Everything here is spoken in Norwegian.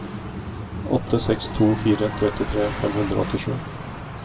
åtte seks to fire trettitre fem hundre og åttisju